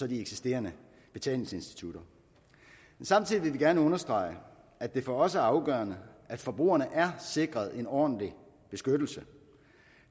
de eksisterende betalingsinstitutter samtidig vil vi gerne understrege at det for os er afgørende at forbrugerne er sikret en ordentlig beskyttelse